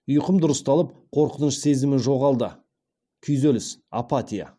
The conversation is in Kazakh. ұйқым дұрысталып қорқыныш сезімі жоғалды күйзеліс апатия